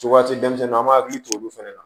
Cogodi denmisɛnninw an b'an hakili to olu fɛnɛ na